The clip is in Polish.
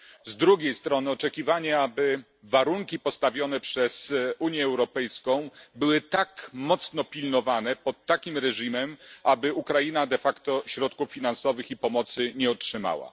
Z drugiej strony były takie oczekiwania, by warunki postawione przez Unię Europejską były tak ściśle pilnowane, pod takim reżimem, aby Ukraina środków finansowych i pomocy nie otrzymała.